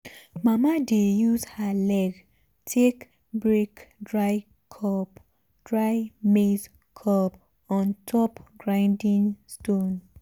mama dey use her leg take break dry maize cob on top grinding stone.